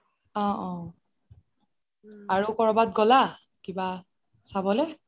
অহ অহ আৰু কৰোবাত গ'লা কিবা চাবলে